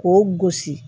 K'o gosi